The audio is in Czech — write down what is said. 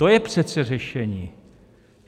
To je přece řešení.